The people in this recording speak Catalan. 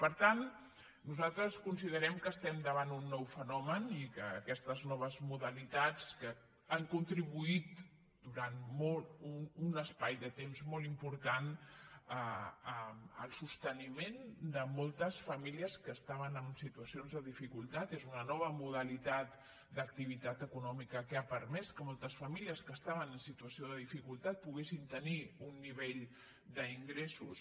per tant nosaltres considerem que estem davant un nou fenomen i que aquestes noves modalitats han contribuït durant un espai de temps molt important al sosteniment de moltes famílies que estaven en situacions de dificultat és una nova modalitat d’activitat econòmica que ha permès que moltes famílies que estaven en situació de dificultat poguessin tenir un nivell d’ingressos